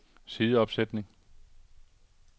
sideopsætning